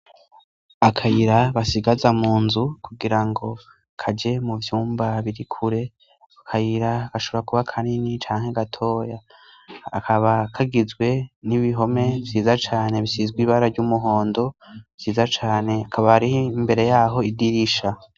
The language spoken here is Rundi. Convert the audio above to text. Akayira basigaza mu nzu kugira ngo kaje mu vyumba biri kure; akayira gashobora kuba kanini canke gatoya kakaba kagizwe n'ibihome vyiza cane bisizwe ibara ry'umuhondo vyiza cane, hakaba hariho imbere yaho, idirisha.